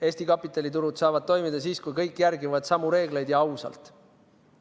Eesti kapitaliturud saavad toimida siis, kui kõik järgivad samu reegleid ja ausalt.